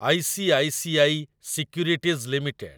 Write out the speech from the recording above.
ICICI securities limited